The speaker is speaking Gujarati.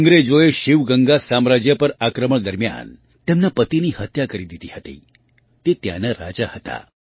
અંગ્રેજોએ શિવગંગા સામ્રાજ્ય પર આક્રમણ દરમિયાન તેમના પતિની હત્યા કરી દીધી હતી જે ત્યાંના રાજા હતા